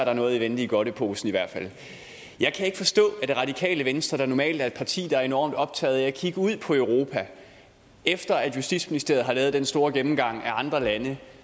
er noget i vente i godteposen jeg kan ikke forstå at det radikale venstre der normalt er et parti der er enormt optaget af at kigge ud på europa kan efter at justitsministeriet har lavet den store gennemgang af andre lande